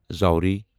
زوری